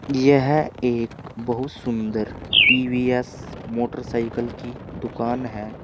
यह एक बहुत सुन्दर टी_वी_एस मोटरसाइकिल की दुकान है।